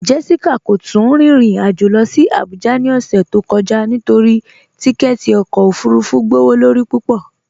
Jessica kò tún rìn irin ajó lọ sí Àbújà ni ọṣẹ̀ tó kọja nítorí tìkẹ̀tì ọkọ ofúrúfú gbọwọ́lọ́rí púpọ.